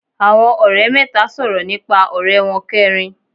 Àwọn òrẹ́ mẹ́ta sòrò nípa òré won keerin